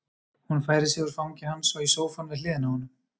Hún færir sig úr fangi hans og í sófann við hliðina á honum.